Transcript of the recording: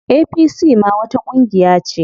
APC ma wata ƙungiya ce.